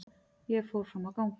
Ég fór fram á gang.